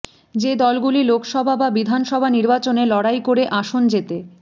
যে দলগুলি লোকসভা বা বিধানসভা নির্বাচনে লড়াই করে আসন যেতে